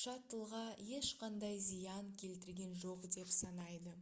шаттлға ешқандай зиян келтірген жоқ деп санайды